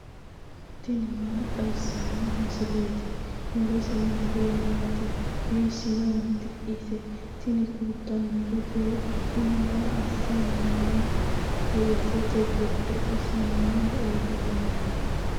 tini maa xawissanno misileeti ? mulese noori maati ? hiissinannite ise ? tini kultannori beettu kuni maa assanni nooho weesete giddo isi mayara uurrinohoyya